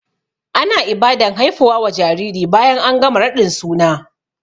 Ana Ibadan haifuwa wa jariri bayan an gama raɗin suna